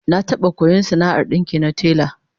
Na taba koyon sana'ar dinki na tela